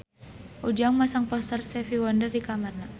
Ujang masang poster Stevie Wonder di kamarna